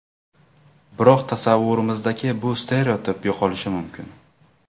Biroq tasavvurimizdagi bu stereotip yo‘qolishi mumkin.